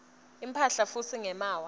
imphahla futsi ngemaawa